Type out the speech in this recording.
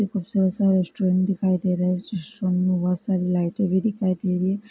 एक खूबसूरत सा रेस्टोरेंट दिखाई दे रहा है। इस रेस्टोरेंट में बहुत सारी लाइटें भी दिखाई दे रही हैं।